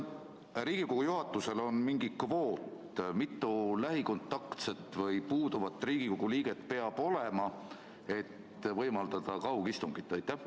Kas Riigikogu juhatusel on mingi kvoot, mitu lähikontaktset või puuduvat Riigikogu liiget peab olema, et võimaldada kaugistungit?